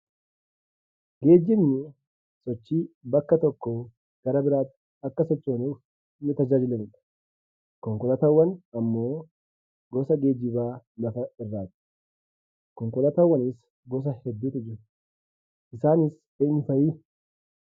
Geejjibni sochii bakka tokkoo gara biraatti akka sochoonuuf nu tajaajilanidha. Konkolaataawwan ammoo gosa geejjibaa lafa irraati. Konkolaataawwanis gosa hedduutu jiru. Isaanis eenyu fa'i?